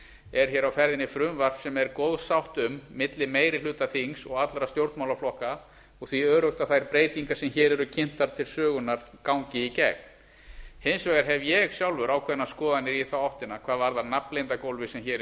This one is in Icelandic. er hér á ferðinni frumvarp sem er góð sátt um milli meiri hluta þings og allra stjórnmálaflokka og því öruggt að þær breytingar sem hér eru kynntar til sögunnar gangi í gegn hins vegar hef ég sjálfur ákveðnar skoðanir í þá áttina hvað varðar nafnleyndargólfið sem hér er